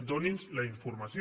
donin nos la informació